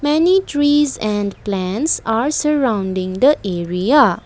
many trees and plants are surrounding the area.